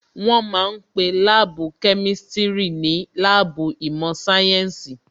Wọ́n ma ń pe Láàbù Kemistiri ní láàbù ìmọ̀ sáyẹ́ǹsì